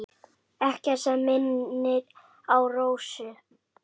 Ekkert sem minnir á Rósu.